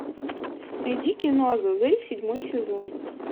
найди кино азазель седьмой сезон